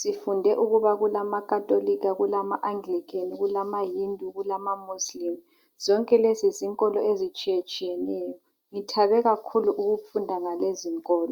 Sifunde ukuba kulamaKhatholika, kulama Anglican, kulama Hindu kulama Muslim, zonke lezi zinkolo ezitshiyetshiyeneyo. Ngithabe kakhulu ukufunda ngalezinkolo